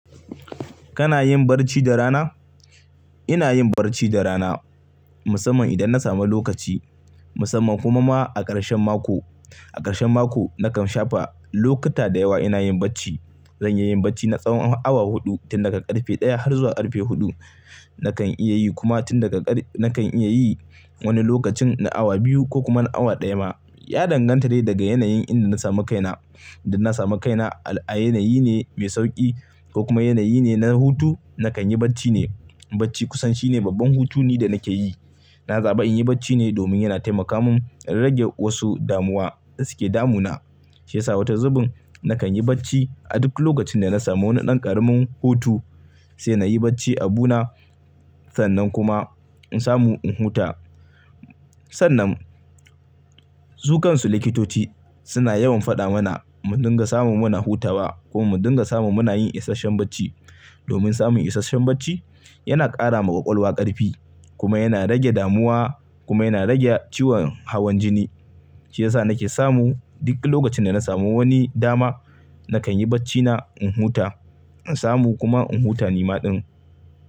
Kana yin barci da rana? Ina yin barci da rana musamman idan na samu lokaci musamman kuma ma a karshen mako. A karshen mako nakan shafa lokuta da yawa ina yin barci. Zanyi yin barci na tsawon awa huɗu tun daga karfe ɗaya har zuwa karfe huɗu nakan iya yi kuma tun daga ƙar nakan iya yi wani lokacin na awa biyu ko kuma awa ɗaya ma. Ya danganta dai daga yanayin inda na samu kaina. Indan na samu kaina a yanayi ne mai sauƙi ko kuma yanayi ne na hutu nakan yi barci ne. Barci kusan shine babban hutu ne da nake yi. Na zaɓi in yi barci ne domin yana taimaka min a rage wasu damuwa da suke damu na. Shi yasa wata zubin nakan yi barci a duk lokacin da na samu wani ɗan ƙaramin hutu sai nayi barci a bu na sannan kuma in samu in huta. Sannan su kansu likitoci suna yawan faɗa mana mu dinga samu muna hutawa ko mu dinga samu muna yin isashen barci. Domin samun isashen barci yana ƙara ma ƙwaƙwalwa ƙarfi kuma yana rage damuwa kuma yana rage ciwon hawan jini. Shi yasa nake samu duk lokacin da na samu wani dama nakan yi barci na in huta in samu kuma in huta ni maɗin.